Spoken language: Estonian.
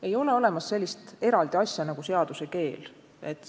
Ei ole olemas sellist eraldi asja nagu seaduse keel.